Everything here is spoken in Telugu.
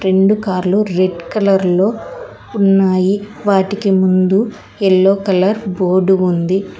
రెండు కార్లు రెడ్ కలర్ లో ఉన్నాయి వాటికి ముందు యెల్లో కలర్ బోర్డు ఉంది.